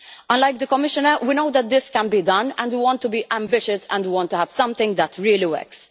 Unlike the Commissioner, we know that this can be done and we want to be ambitious and we want to have something that really works.